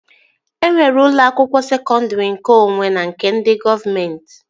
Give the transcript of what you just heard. E nwere ụlọ akwụkwọ sekọndri nkeonwe na nke ndị gọọmenti